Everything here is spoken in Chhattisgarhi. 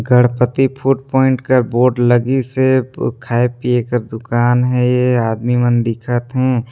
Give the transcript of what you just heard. गणपति फूड प्वाइंट का बोर्ड लगी से खाए पिए का दुकान है ये आदमी मन दिखत हे।